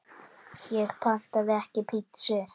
Ég pantaði ekki pítsu